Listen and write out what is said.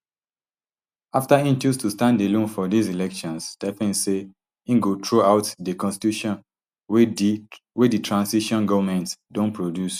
afta im choose to stand alone for dis elections stphane say im go throw out di constitution wey di transition goment don produce